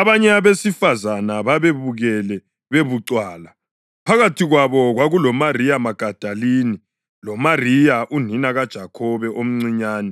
Abanye abesifazane babebukele bebucwala. Phakathi kwabo kwakuloMariya Magadalini loMariya unina kaJakhobe omncinyane